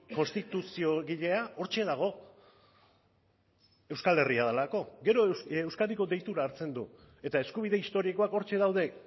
konstituziogilea hortxe dago euskal herria delako gero euskadiko deitura hartzen du eta eskubide historikoak hortxe daude